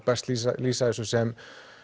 best lýsa lýsa þessu sem